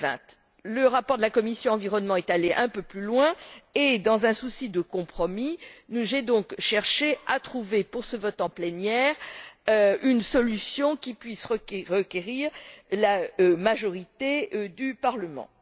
2020. Le rapport de la commission de l'environnement est allé un peu plus loin et, dans un souci de compromis, j'ai donc cherché à trouver, pour ce vote en plénière, une solution qui puisse recueillir la majorité au Parlement.